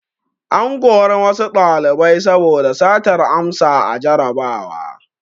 An kori wasu ɗalibai saboda satar amsa a jarrabawa.